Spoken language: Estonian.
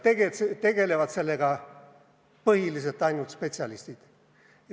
Seal tegelevad sellega põhiliselt ainult spetsialistid.